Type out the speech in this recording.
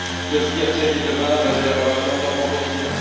de ce qui a servi de base à l'élaboration de nos propositions.